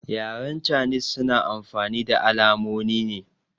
Yaren canis suna amfani da alamonine